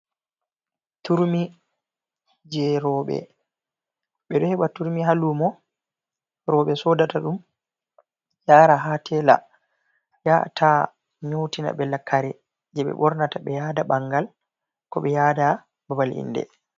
Turmi je roɓe be ɗo heba turmi ha lumo. Roɓe soɗata ɗum yara ha tela yata'a nyautina be kare je be bornata be yaaɗa bangal ko be yaɗa babal inɗe.